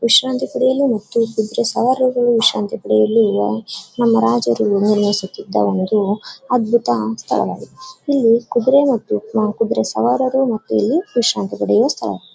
ವಿಶ್ರಾಂತಿ ಪಡೆಯಲು ಮತ್ತು ಕುದುರೆ ಸವಾರರು ವಿಶ್ರಾಂತಿ ಪಡೆಯಲು ಇರುವ ನಮ್ಮ ರಾಜರು ನಿರ್ವಹಿಸುತ್ತಿದ್ದ ಒಂದು ಅದ್ಬುತ ಸ್ಥಳ ವಾಗಿದೆ. ಇಲ್ಲಿ ಕುದುರೇ ಮತ್ತು ಕುದುರೆ ಸವಾರರು ವಿಶ್ರಾಂತಿ ಪಡೆಯುವ ಸ್ಥಳ.